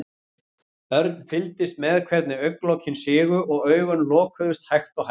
Örn fylgdist með hvernig augnalokin sigu og augun lokuðust hægt og hægt.